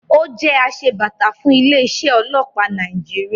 Ó jẹ́ asebàtà fún ilé-iṣẹ́ ọlọ́pàá Nàìjíríà.